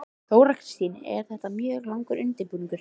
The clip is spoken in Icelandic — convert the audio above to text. Þóra Kristín: En þetta er mjög langur undirbúningur?